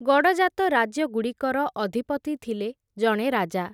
ଗଡ଼ଜାତ ରାଜ୍ୟ ଗୁଡ଼ିକର, ଅଧିପତି ଥିଲେ ଜଣେ ରାଜା ।